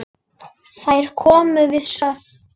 Þær komu við sögu.